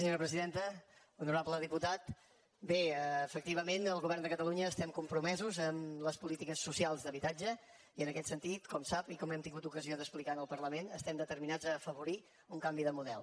honorable diputat bé efectivament el govern de catalunya estem compromesos amb les polítiques socials d’habitatge i en aquest sentit com sap i com hem tingut ocasió d’explicar en el parlament estem determinats a afavorir un canvi de model